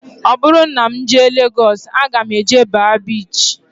Ọ bụrụ na m jee Legọs aga m eje baa biichi